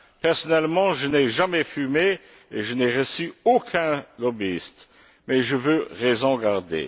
Personnellement, je n'ai jamais fumé et je n'ai reçu aucun lobbyiste, mais je veux raison garder.